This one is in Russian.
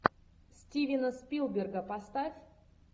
стивена спилберга поставь